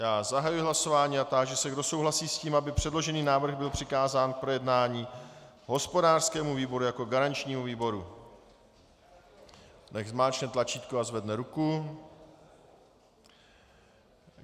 Já zahajuji hlasování a táži se, kdo souhlasí s tím, aby předložený návrh byl přikázán k projednání hospodářskému výboru jako garančnímu výboru, nechť zmáčkne tlačítko a zvedne ruku.